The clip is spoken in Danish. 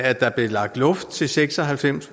at der blev lagt luft til seks og halvfems